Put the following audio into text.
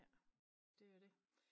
Ja det jo det